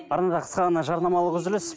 арнада қысқа ғана жарнамалық үзіліс